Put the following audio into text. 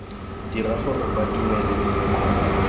dira gore ba dumele se